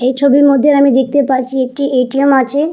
এই ছবির মধ্যে আমি দেখতে পারছি একটি এ.টি.এম. আছে।